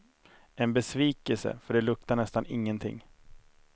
En besvikelse, för det luktar nästan ingenting.